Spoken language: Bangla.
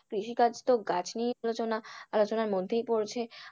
কৃষি কাজ তো গাছ নিয়েই আলোচনা, আলোচনার মধ্যেই পড়ছে।